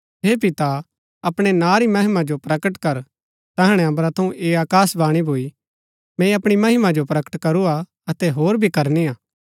हे पिता अपणै नां री महिमा जो प्रकट कर तैहणै अम्बरा थऊँ ऐह आकाशवाणी भूई मैंई अपणी महिमा जो प्रकट करूआ अतै होर भी करनी हा